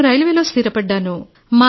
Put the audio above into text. నేను రైల్వేలో స్థిరపడ్డాను